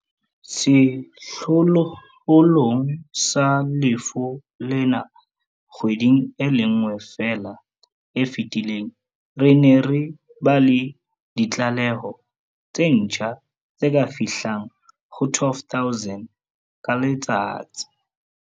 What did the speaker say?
Sehlohlolong sa lefu lena kgweding e le nngwe feela e fetileng, re ne re ba le ditlaleho tse ntjha tse ka fihlang ho 12 000 ka letsatsi.